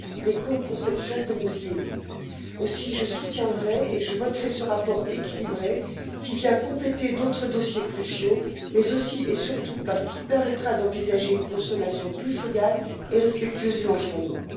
L'écoconception peut nous y aider. Aussi, je soutiendrai et voterai en faveur de ce rapport équilibré, qui vient compléter d'autres dossiers cruciaux, mais aussi et surtout parce qu'il permettra d'envisager une consommation plus frugale et respectueuse de l'environnement.